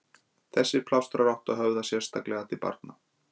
Þessir plástrar áttu að höfða sérstaklega til barna.